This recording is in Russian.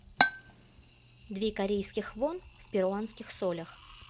две корейских вон в перуанских солях